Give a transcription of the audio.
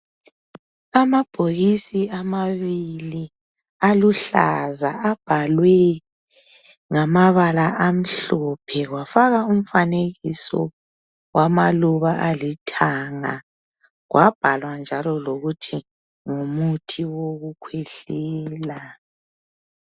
Amabhokisi amabili aluhlaza abhalwe ngamabala amhlophe kwafakwa umfanekiso wamaluba alithanga .Kwabhalwa njalo lokuthi ngumuthi wokukhwehlela .